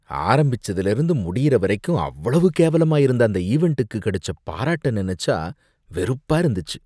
ஆரம்பிச்சதுலேர்ந்து முடியிற வரைக்கும் அவ்வளவு கேவலமா இருந்த அந்த ஈவெண்ட்டுக்கு கடைச்ச பாராட்ட நெனச்சா வெறுப்பா இருந்துச்சு.